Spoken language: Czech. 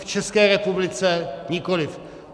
V České republice nikoliv.